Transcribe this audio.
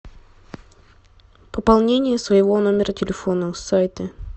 пополнение своего номера телефона с сайта